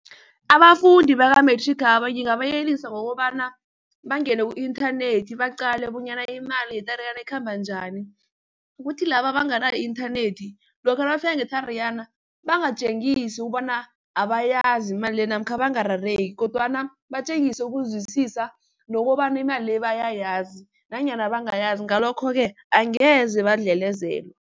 Abafundi bakamethrikhaba ngingabayelelisa ngokobana bangene ku-inthanethi baqale bonyana imali ye-Tariyana ikhamba njani. Ukuthi laba abanganayo i-inthanethi lokha nabafika nge-Tariyana bangatjengisi ukubona abayazi imali le namkha bangarareki kodwana batjengise ukuzwisisa nokobana imali le bayayazi nanyana bangayazi, ngalokho-ke angeze badlelezelwe.